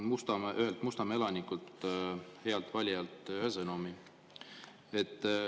Just sain ühelt Mustamäe elanikult, healt valijalt ühe sõnumi.